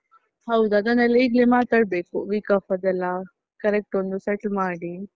ಹೌದು, ಅದನ್ನೆಲ್ಲ ಈಗ್ಲೇ ಮಾತಾಡ್ಬೇಕು week off ಅದೆಲ್ಲ correct ಒಂದ್ set ಮಾಡಿ.